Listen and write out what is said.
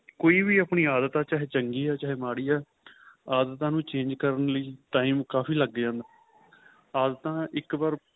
ਕੋਈ ਵੀ ਆਪਣੀ ਆਦਤ ਚਾਹੇ ਚੰਗੀ ਆਂ ਚਾਹੇ ਮਾੜੀ ਏ ਆਦਤਾਂ ਨੂੰ change ਕਰਨ ਲਈ time ਕਾਫ਼ੀ ਲੱਗ ਜਾਂਦਾ ਆਦਤਾਂ ਇੱਕ ਵਾਰ